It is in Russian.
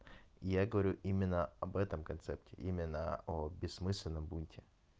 я говорю именно об этом концерте именно о бессмысленном бунте